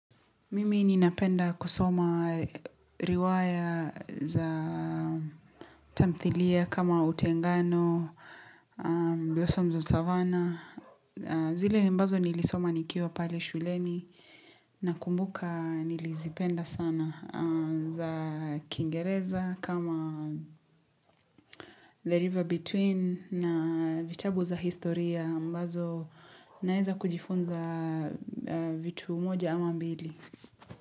Mimi ninapenda kusoma riwaya za tamthilia kama Utengano, blossoms of Savana. Zile ambazo nilisoma nikiwa pale shuleni nakumbuka nilizipenda sana za Kingereza kama The River Between na vitabu za historia ambazo naeza kujifunza vitu moja ama mbili.